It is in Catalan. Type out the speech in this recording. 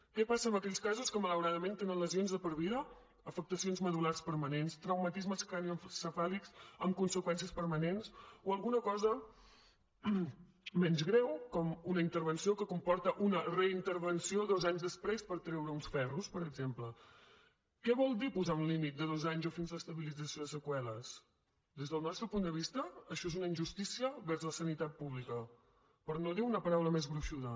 què passa en aquells casos que malauradament tenen lesions de per vida afectacions medul·lars permanents traumatismes cranioencefàlics amb conseqüències permanents o alguna cosa menys greu com una intervenció que comporta una reintervenció dos anys després per treure uns ferros per exemple què vol dir posar un límit de dos anys o fins a l’estabilització de seqüeles des del nostre punt de vista això és una injustícia vers la sanitat pública per no dir una paraula més gruixuda